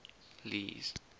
lee's